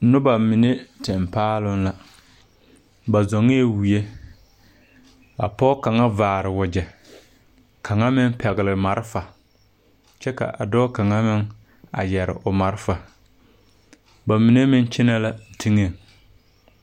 Nobɔ mine teŋ paaloŋ la ba zɔŋɛɛ wie a pɔg kaŋa vaare wagyɛ kaŋa meŋ pɛgle malefa kyɛ ka a dɔɔ kaŋa meŋ a yɛre o malefa ba mine meŋ kyenɛ la teŋɛŋ.